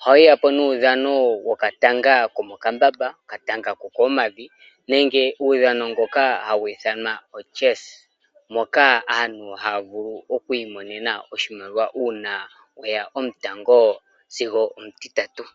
Ohayiya po nuudhano wokatanga komokambamba, okatanga kokoompadhi nenge uudhano mboka hawu ithanwa chess moka aantu hayavulu okwiimonena oshimaliwa uuna weya omutango sigo omutitatu.